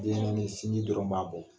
Denɲɛnɛnin sinji dɔrɔn b'a bɔ.